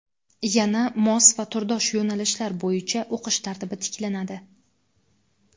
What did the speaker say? Yana mos va turdosh yo‘nalishlar bo‘yicha o‘qish tartibi tiklanadi.